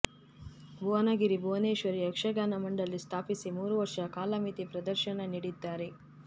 ಭುವನಗಿರಿ ಭುವನೇಶ್ವರಿ ಯಕ್ಷಗಾನ ಮಂಡಳಿ ಸ್ಥಾಪಿಸಿ ಮೂರು ವರ್ಷ ಕಾಲಮಿತಿ ಪ್ರದರ್ಶನ ನೀಡಿದ್ದಾರೆ